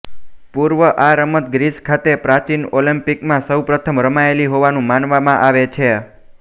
પૂર્વે આ રમત ગ્રીસ ખાતે પ્રાચીન ઓલોમ્પિકમાં સૌપ્રથમ રમાયેલી હોવાનું માનવામાં આવે છે